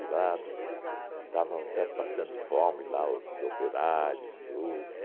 E lá estavam até passando fome, lá, os operários, tudo.